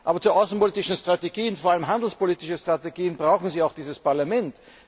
Aber zu außenpolitischen Strategien, vor allem handelspolitischen Strategien, brauchen Sie auch dieses Parlament!